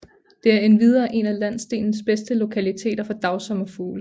Det er endvidere en af landsdelens bedste lokaliteter for dagsommerfugle